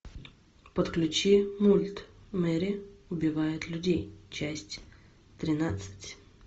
подключи мульт мэри убивает людей часть тринадцать